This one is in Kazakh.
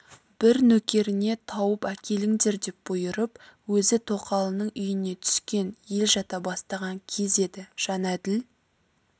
бір нөкеріне тауып әкеліңдер деп бұйырып өзі тоқалының үйіне түскен ел жата бастаған кез еді жәнәділ